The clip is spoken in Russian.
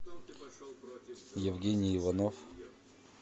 евгений иванов